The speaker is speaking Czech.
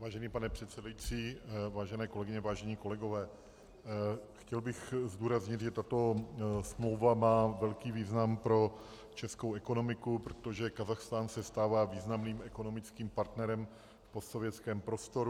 Vážený pane předsedající, vážené kolegyně, vážení kolegové, chtěl bych zdůraznit, že tato smlouva má velký význam pro českou ekonomiku, protože Kazachstán se stává významným ekonomickým partnerem v postsovětském prostoru.